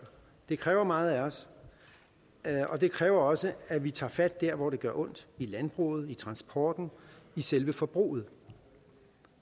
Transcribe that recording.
det kræver meget af os og det kræver også at vi tager fat der hvor det gør ondt i landbruget i transporten i selve forbruget